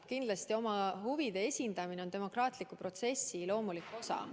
Kindlasti oma huvide esindamine on demokraatliku protsessi loomulik osa.